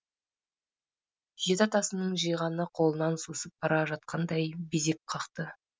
жеті атасының жиғаны қолынан сусып бара жатқандай безек қақты